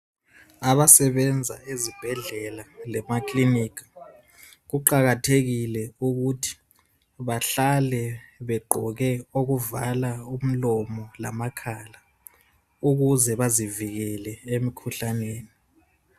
Abasebenza ezibhendlela lamakilinika kuqakathekile ukuthi bahlale begqoke okuvala umlomo lamakhala ukuze bazivikele emkhuhlaneni